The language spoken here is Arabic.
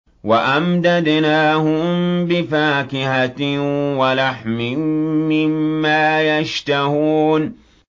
وَأَمْدَدْنَاهُم بِفَاكِهَةٍ وَلَحْمٍ مِّمَّا يَشْتَهُونَ